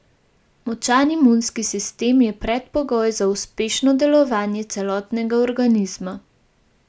Močan imunski sistem je predpogoj za uspešno delovanje celotnega organizma.